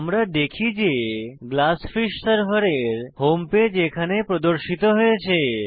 আমরা দেখি যে গ্লাসফিশ সার্ভার এর হোম পেজ এখানে প্রদর্শিত হয়েছে